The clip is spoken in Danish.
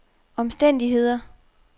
omstændigheder